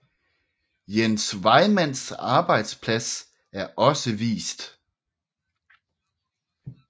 Jens Vejmands arbejdsplads er også vist